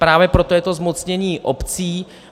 Právě proto je to zmocnění obcí.